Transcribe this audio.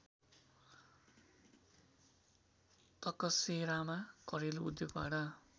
तकसेरामा घरेलु उद्योगबाट